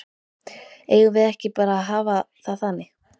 Eigum við ekki bara að hafa það þannig?